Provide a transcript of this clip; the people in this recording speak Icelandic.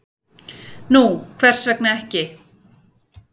"""Nú, hvers vegna ekki?"""